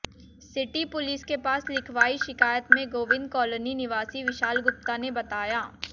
city police के पास लिखवार्ई शिकायत में गोबिंद कालोनी निवासी विशाल गुप्ता ने बताया